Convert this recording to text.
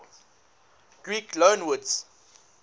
greek loanwords